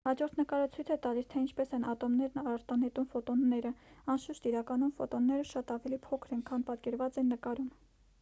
հաջորդ նկարը ցույց է տալիս թե ինչպես են ատոմներն արտանետում ֆոտոնները անշուշտ իրականում ֆոտոնները շատ ավելի փոքր են քան պատկերված են նկարում